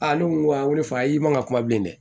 A ne ko a n ko fa i ma ka kuma bilen dɛ